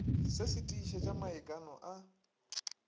se se tiišetša maikano a